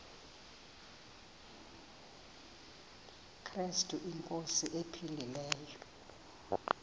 krestu inkosi ephilileyo